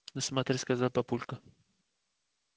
ну смотри сказал папулька